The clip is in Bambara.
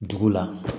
Dugu la